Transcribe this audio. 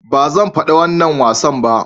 "Ba zan fada wannan wasan ba."